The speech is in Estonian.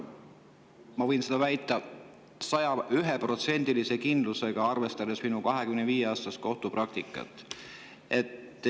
Ma võin seda väita 101%-lise kindlusega, arvestades minu 25-aastast kohtupraktikat.